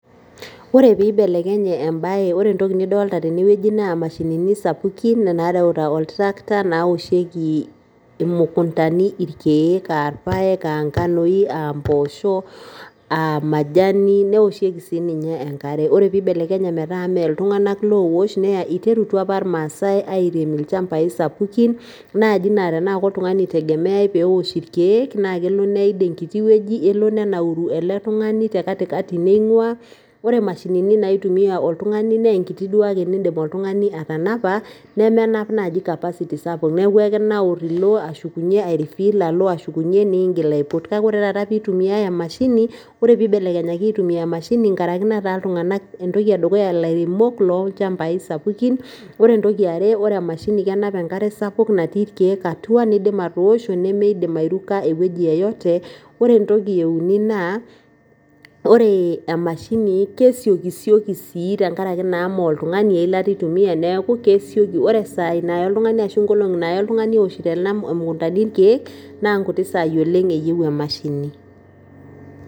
Ore peeibelekenye embae ore intokitin nadolita tene naa imashinini sapukin naareuta oltrakta nairemieki imukuntani ,irkiek irpaek aa mpoosho aa majani newoshieki sii ninye enkare ore peeibelekenye metaa mee iltung'anak oowosh iterutua apa irmaasai airem ilchambai sapukin laa tenaa koltung'ani naaji eitegemeyai peewosh irkiek naa keidim naaji neid enkiti wueji, nenauru ele tung'ani tekatikati neing'ua neeku ore imashinini naitumiya oltung'ani naa inkuti duake nindim atanapa nemenap naaji capacity sapuk neeku ekirau ilo ashukunyie ilo ningil .ore peibelekenyaki aitumiya emashini inkaraki netaa iltung'anak ilairemok loolchambai sapukin ore entoki are ore emashini kenap enkare sapuk nipik irkiek atua nindip atoosho olchamba e wueji yeyote ore ewueji euni naa ore emashini kesioki sioki sii tenkaraki naa eilata eitumiya neeku kesioki ore isaai naaya oltung'ani ashu inkolong'i naaya oltung'ani egira aitalam imukuntani irkiek naa inkuti sai oleng eyieu emashini